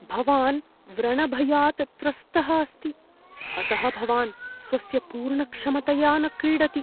भवान् व्रणभयात् त्रस्तः अस्ति, अतः भवान् स्वस्य पूर्णक्षमतया न क्रीडति ।